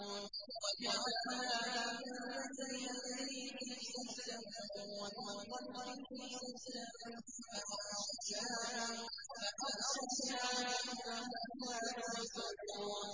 وَجَعَلْنَا مِن بَيْنِ أَيْدِيهِمْ سَدًّا وَمِنْ خَلْفِهِمْ سَدًّا فَأَغْشَيْنَاهُمْ فَهُمْ لَا يُبْصِرُونَ